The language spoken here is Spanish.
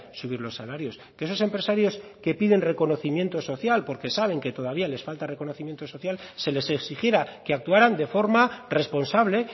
subir los salarios que esos empresarios que piden reconocimiento social porque saben que todavía les falta reconocimiento social se les exigiera que actuaran de forma responsable